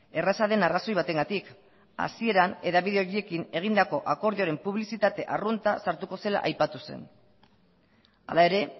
erraza den arrazoi batengatik hasieran hedabide horiekin egindako akordioaren publizitate arrunta sartuko zela aipatu zen hala ere